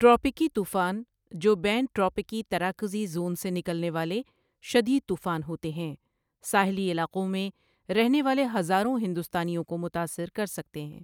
ٹراپیکی طوفان، جو بین ٹراپیکی تراکزی زون سے نکلنے والے شدید طوفان ہوتے ہیں، ساحلی علاقوں میں رہنے والے ہزاروں ہندوستانیوں کو متاثر کر سکتے ہیں۔